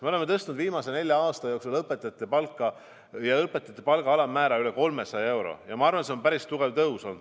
Me oleme tõstnud viimase nelja aasta jooksul õpetajate palka, ka õpetajate palga alammäära üle 300 euro ja ma arvan, et see on päris tugev tõus olnud.